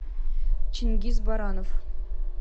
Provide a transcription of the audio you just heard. чингиз баранов